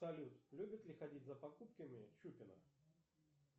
салют любит ли ходить за покупками щукина